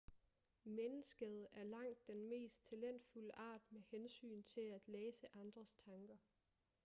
mennesket er langt den mest talentfulde art med hensyn til at læse andres tanker